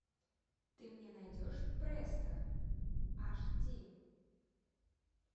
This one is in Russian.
ты мне найдешь престо аш ди